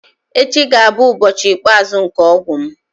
Echi ga-abụ ụbọchị ikpeazụ nke ọgwụ m.